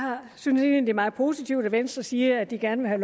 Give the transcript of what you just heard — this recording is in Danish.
synes egentlig meget positivt at venstre siger at de gerne vil